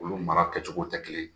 Olu mara kɛcogow tɛ kelen ye.